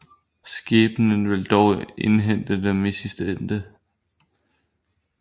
Skæbnen ville dog indhente dem i sidste ende